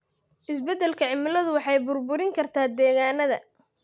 Isbeddelka cimiladu waxay burburin kartaa degaannada.